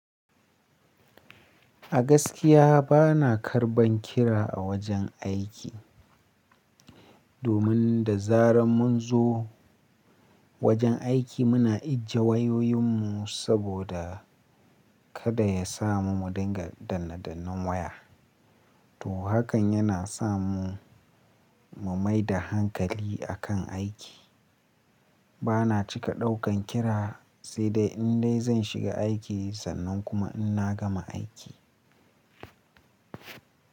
A gaskiya bana karban kira a wajen aiki. Domin da zaran mun zo wajen aiki muna ijiye wayoyin mu saboda kada ya samu mu dinga dannne dannen waya. To hakan yana samu, mu maida hankali akan aiki. Bana cika daukan kira sai dai in dai zan shiga aiki sannan kuma in na gama aiki.